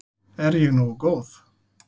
Er ég nógu góð?